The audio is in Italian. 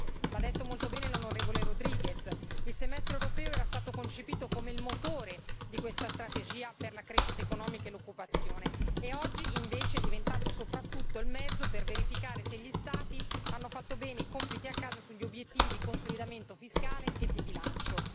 Come ha detto molto bene l'onorevole Rodriguez, il semestre europeo era stato concepito come il motore di questa strategia per la crescita economica e l'occupazione e oggi invece è diventato soprattutto il mezzo per verificare se gli Stati hanno fatto bene i compiti a casa sugli obiettivi di consolidamento fiscale e di bilancio.